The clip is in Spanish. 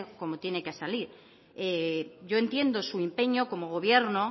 como tiene que salir yo entiendo su empeño como gobierno